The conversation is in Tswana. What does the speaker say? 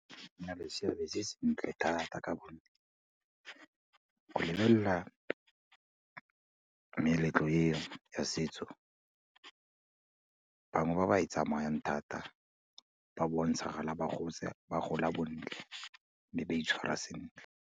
E na le seabe se sentle thata ka gonne go lebelela meletlo e ya setso, bangwe ba ba e tsamayang thata, ba bontshagala ba gotse, ba gola bontle, mme ba itshwera sentle.